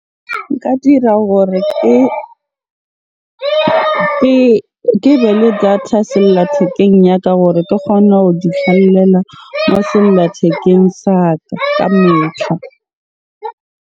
Nka dira hore ke be le data sellathekeng ya ka gore ke kgone ho di moo sellathekeng sa ka ka .